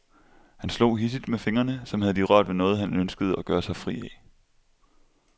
Han slog hidsigt med fingrene, som havde de rørt ved noget han ønskede at gøre sig fri af.